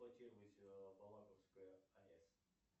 балаковская аэс